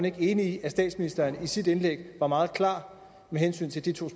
ikke enig i at statsministeren i sit indlæg var meget klar med hensyn til de to